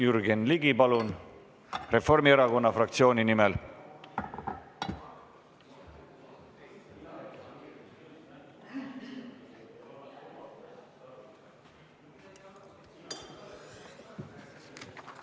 Jürgen Ligi, palun, Reformierakonna fraktsiooni nimel!